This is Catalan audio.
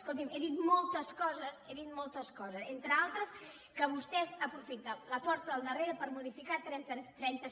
escolti he dit moltes coses he dit moltes coses entre altres que vostès aprofiten la porta del darrere per modificar trenta